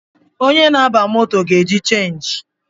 Onye na-aba moto ga-eji chenji